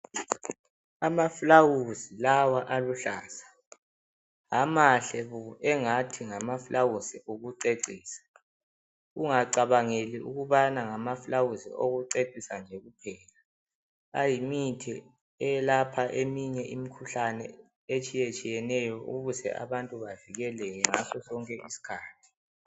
Amaflawuzi lawa aluhlaza, amahle engathi ngamaflawuzi okucecisa. Ungacabangeli ukubana ngamaflawuzi okucecisa nje kuphela, ayimithi eyelapha eminye imikhuhlane etshiyetshiyeneyo ukuze abantu bavikeleke ngaso sonke isikhathi.